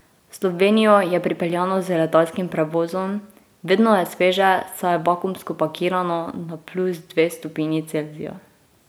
V Slovenijo je pripeljano z letalskim prevozom, vedno je sveže, saj je vakuumsko pakirano na plus dve stopinji Celzija.